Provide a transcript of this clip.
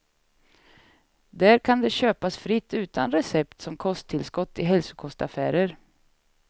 Där kan det köpas fritt utan recept som kosttillskott i hälsokostaffärer.